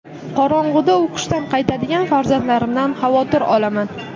Qorong‘uda o‘qishdan qaytadigan farzandlarimdan xavotir olaman.